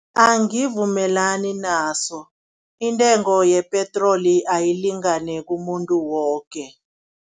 Angivumelani naso, intengo yepetroli ayilingane kumuntu woke.